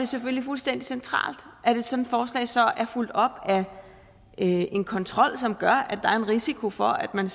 selvfølgelig fuldstændig centralt at et sådant forslag så er fulgt op af en kontrol som gør at der er en risiko for at man